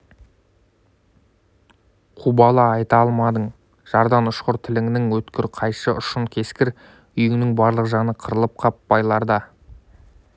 қубала айта алмадың жардан ұшқыр тіліңнің өткір қайшы ұшын кескір үйіңнің барлық жаны қырылып қап байларда